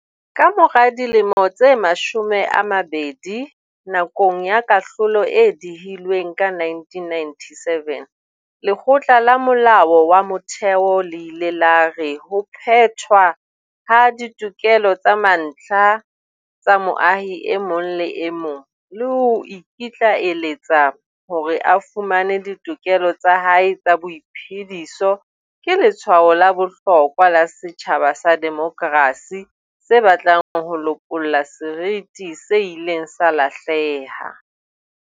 Ka mora dilemo tse mashome a mabedi, nakong ya kahlolo e dihilweng ka 1997, Lekgotla la Molao wa Motheo le ile la re ho phethwa ha ditokelo tsa mantlha tsa moahi e mong le e mong, le ho ikitlaeletsa hore a fumane ditokelo tsa hae tsa boiphe-diso ke letshwao la bohlokwa la setjhaba sa demokrasi se batlang ho lopolla seriti se ileng sa lahleha.